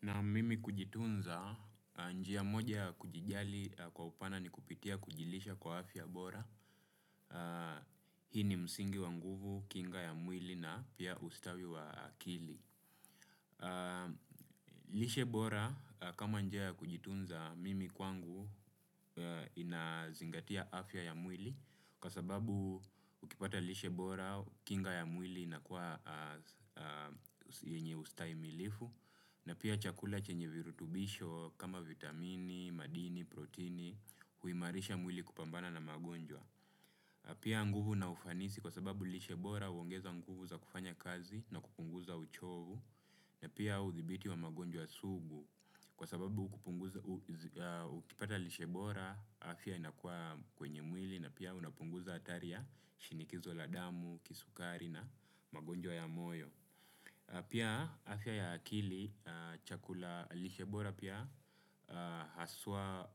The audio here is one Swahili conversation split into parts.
Na mimi kujitunza, njia moja ya kujijali kwa upana ni kupitia kujilisha kwa afya bora. Hii ni msingi wa nguvu, kinga ya mwili na pia ustawi wa akili. Lishe bora, kama njia ya kujitunza, mimi kwangu inazingatia afya ya mwili, kwa sababu ukipata lishe bora, kinga ya mwili inakuwa yenye ustahimilivu. Na pia chakula chenye virutubisho kama vitamini, madini, protini, huimarisha mwili kupambana na magonjwa. Pia nguvu na ufanisi, kwa sababu lishe bora huongeza nguvu za kufanya kazi na kupunguza uchovu. Na pia uthibiti wa magonjwa sugu, kwa sababu ukipata lishe bora, afya inakuwa kwenye mwili na pia unapunguza hatari ya shinikizo la damu, kisukari na magonjwa ya moyo. Pia afya ya akili, lishe bora pia hasa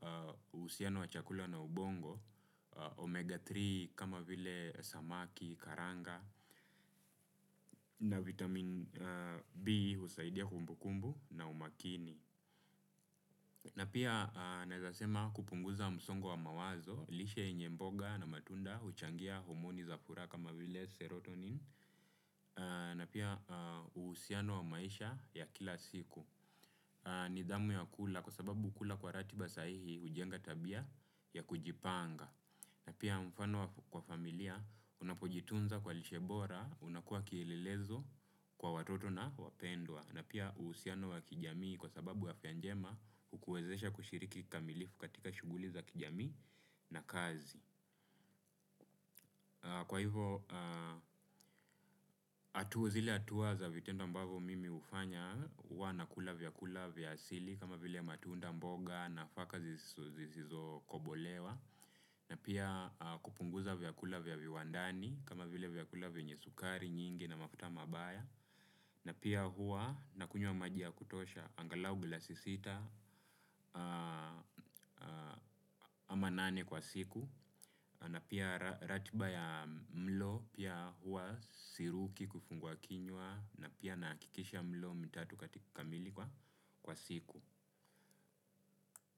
uhusiano wa chakula na ubongo, omega-3 kama vile samaki, karanga, na vitamini B husaidia kumbukumbu na umakini. Na pia nasema kupunguza msongo wa mawazo, lishe ya mboga na matunda huchangia homoni za furaha kama vile serotonin, na pia uhusiano wa maisha ya kila siku. Nidhamu ya kula, kwa sababu ukila kwa ratiba sahihi, hujenga tabia ya kujipanga. Na pia mfano wa familia, unapojitunza kwa lishe bora, unakuwa kielelezo kwa watoto na wapendwa. Na pia uhusiano wa kijamii, kwa sababu afya njema hukuwezesha kushiriki kikamilifu katika shughuli za kijamii na kazi. Kwa hivyo, hatua zile ambazo mimi huwa nafanya ni kula vyakula vya asili kama vile matunda, mboga na nafaka zisizokobolewa. Na pia kupunguza vyakula vya viwandani kama vile vyakula vyenye sukari nyingi na mafuta mabaya. Na pia huwa nakunywa maji ya kutosha, angalau glasi sita ama nane kwa siku. Na pia ratiba ya mlo, pia huwa siruki kufungua kinywa na pia ninahakikisha mlo mitatu kamili kwa siku.